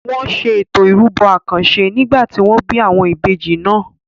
Wọn ṣe Ètò ìrúbọ àkànṣe nígbà tí wọ́n bí àwọn ìbejì náà.